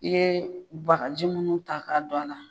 I ye bagaji minnu ta k'a don a la.